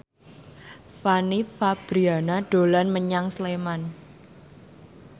Fanny Fabriana dolan menyang Sleman